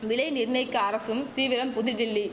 விலை நிர்ணயிக்க அரசும் தீவிரம் புதுடில்லி